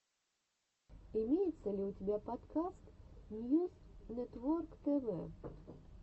имеется ли у тебя подкаст ньюс нетворктв